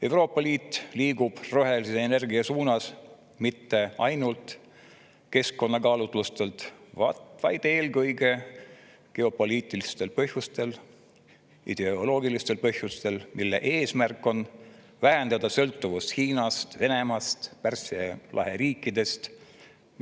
Euroopa Liit liigub rohelise energia suunas mitte ainult keskkonnakaalutlustel, vaid eelkõige geopoliitilistel ja ideoloogilistel põhjustel: eesmärk on vähendada sõltuvust Hiinast, Venemaast ja Pärsia lahe riikidest.